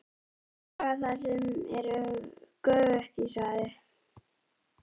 Þeir draga það sem er göfugt í svaðið.!